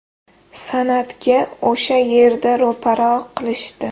San’atga o‘sha yerda ro‘para qilishdi.